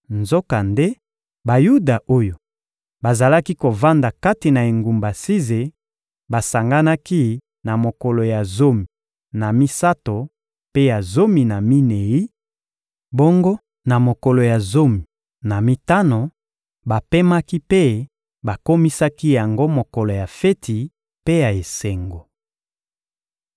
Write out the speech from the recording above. Nzokande, Bayuda oyo bazalaki kovanda kati na engumba Size basanganaki na mokolo ya zomi na misato mpe ya zomi na minei; bongo na mokolo ya zomi na mitano, bapemaki mpe bakomisaki yango mokolo ya feti mpe ya esengo.